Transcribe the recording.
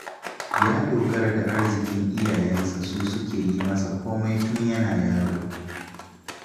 Ya dogara da arzikin iyayensa su suke yi masa komai tun yana yaro